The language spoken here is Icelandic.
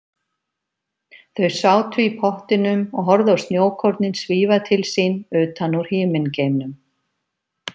Þau sátu í pottinum og horfðu á snjókornin svífa til sín utan úr himingeimnum.